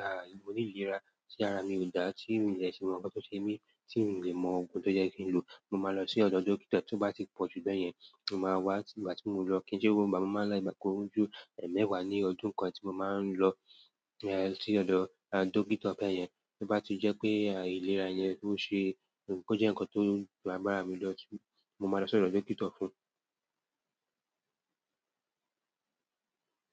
ah mòní ìlera tí ara mi ò dá, tí mi dẹ si mọ nkan ti o ṣé mí, tí n ò lè mọ ogún tó jẹ́ kí n lò, mo máa lọ sí ọ̀dọ̀ dókítà. Tí ó bá ti pọ̀jù bẹ́yẹn, mo máa wá tí ìgbà tí mò ń lọ kí n ṣe ó bá máa láì bá ọkọ̀ ojú ẹ̀ẹ̀mẹwàá ní ọdún kan tí mo máa ń lọ e ẹ sí ọ̀dọ̀ ah dókítà bẹ́yẹn. Bí bá tí jẹ́ pé ah ìlera yẹn ò ṣe é, kó jẹ́ nǹkan tó ju agbara mi lọ tí mo máa lọ sí ọ̀dọ̀ dókítà fún.